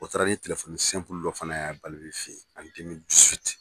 O taara ni telefɔni dɔ fana ye